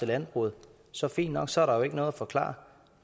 landbruget så fint nok så er der jo ikke noget at forklare